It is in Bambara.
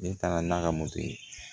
Ne taara n'a ka moto ye